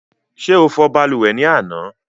Ṣé o fò balùwẹ̀ ni àná?